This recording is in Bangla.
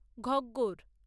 ঘগ্গর